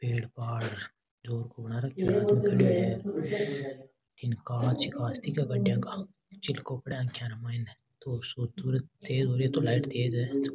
पेड़ पाड़ जोर को बना रखयो कांच ही कांच दिखे है गाड़िया का चिलको पड़े आंखिया का माइने सूरज तेज़ हो रिये तो लाइट तेज़ है।